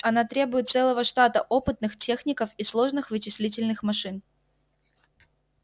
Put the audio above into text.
она требует целого штата опытных техников и сложных вычислительных машин